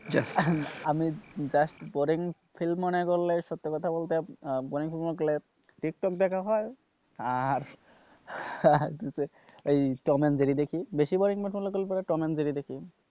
আমি just boring feel মনে করলেই সত্যি কথা বলতে টিকটক দেখা হয় আর টম এন্ড জেরি দেখি বেশি boring মনে হলে টম এন্ড জেরি দেখি,